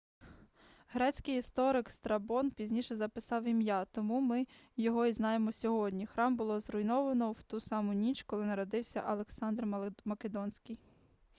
грецький історик страбон пізніше записав ім'я тому ми його і знаємо сьогодні храм було зруйновано в ту саму ніч коли народився александр македонський